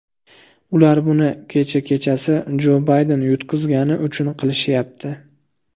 Ular buni kecha kechasi Jo Bayden yutqazgani uchungina qilishyapti.